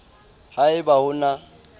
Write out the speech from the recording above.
ha e ba ho na